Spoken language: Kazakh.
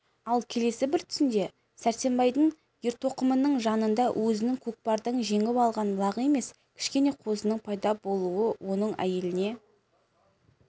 ал келесі бір түсінде сәрсенбайдың ертоқымының жанында өзінің көкпардан жеңіп алған лағы емес кішкене қозының пайда болуы оның әйеліне